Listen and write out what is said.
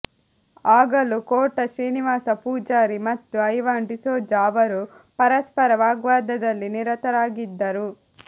ಆಗಲೂ ಕೋಟಾ ಶ್ರೀನಿವಾಸ ಪೂಜಾರಿ ಮತ್ತು ಐವಾನ್ ಡಿಸೋಜ ಅವರು ಪರಸ್ಪರ ವಾಗ್ವಾದದಲ್ಲಿ ನಿರತರಾಗಿದ್ದರು